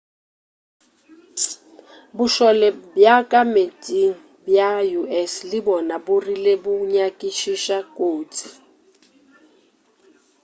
bošole bja ka meetseng bja us le bona bo rile bo nyakišiša kotsi